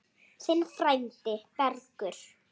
Þinn frændi, Bergur.